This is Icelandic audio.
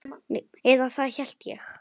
Eða það hélt ég!